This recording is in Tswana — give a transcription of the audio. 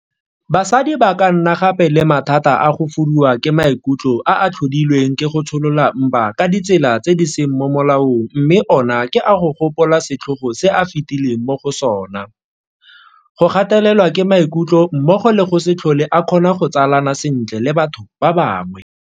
Basadi ba ka nna gape le mathata a go fuduwa ke maikutlo a a tlhodilweng ke go tsholola mpa ka ditsela tse di seng mo molaong mme ona ke a go gopola setlhogo se a fetileng mo go sona, go gatelelwa ke maikutlo mmogo le go se tlhole a kgona go tsalana sentle le batho ba bangwe.